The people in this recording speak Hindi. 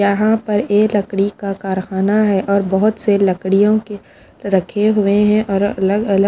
यहाँ पर ए लकड़ी का कारख़ाना है और बहोत से लकड़ियों के रखे हुए हैं हैं और अलग अलग--